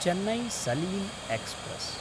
Chennai Salem express